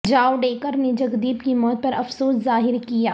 جاوڈیکر نے جگدیپ کی موت پر افسوس ظاہر کیا